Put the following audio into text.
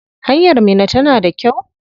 Hanyar Minna tana da kyau?